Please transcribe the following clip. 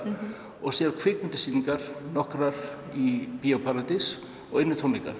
og síðan kvikmyndasýningar í Bíó paradís og einir tónleikar